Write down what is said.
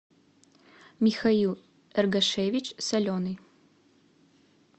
михаил эргашевич соленый